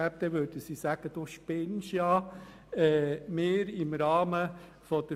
28. November 2017, 17.00–19.00 Uhr Ursula Zybach, Spiez (SP)